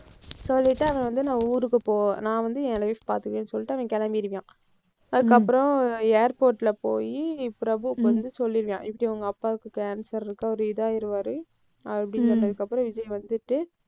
சொல்லிட்டு அவன் வந்து நான் ஊருக்கு போ~ நான் வந்து என் life பாத்துக்கறேன்னு சொல்லிட்டு அவன் கிளம்பிடுவான். அதுக்கப்புறம் airport ல போயி பிரபுவுக்கு வந்து சொல்லியிருக்கான். இப்படி உங்க அப்பாவுக்கு cancer இருக்கு. அவரு இதாயிடுவாரு. அப்படி சொன்னதுக்கு அப்புறம், விஜய் வந்துட்டு,